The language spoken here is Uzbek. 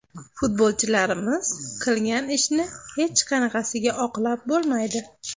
Futbolchilarimiz qilgan ishni hech qanaqasiga oqlab bo‘lmaydi.